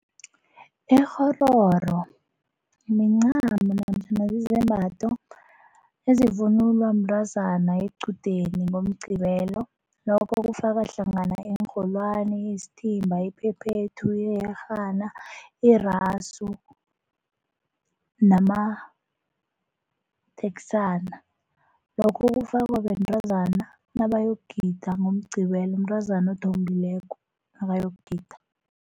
Ikghororo mincamo namtjhana zizembatho ezivunulwa mntazana equdeni ngoMgqibelo lokho kufaka hlangana iinrholwani, isithimba, iphephethu, iyerhana, irasu namateksana. Lokho kufakwa bentazana nabayokugida ngoMgqibelo, mntazana othombileko nakayokugida.